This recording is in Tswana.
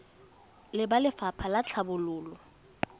le ba lefapha la tlhabololo